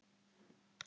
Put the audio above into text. Þeir vita á vorið.